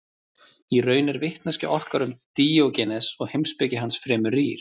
í raun er vitneskja okkar um díógenes og heimspeki hans fremur rýr